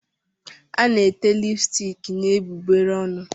A na-ete lipstiki n'egbugbere ọnụ.